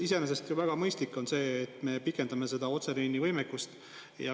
Iseenesest on ju väga mõistlik, et me pikendame otseliinivõimekust.